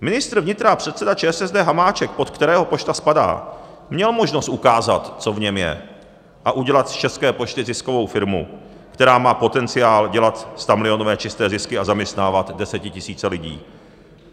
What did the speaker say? Ministr vnitra a předseda ČSSD Hamáček, pod kterého pošta spadá, měl možnost ukázat, co v něm je, a udělat z České pošty ziskovou firmu, která má potenciál dělat stamilionové čisté zisky a zaměstnávat desetitisíce lidí.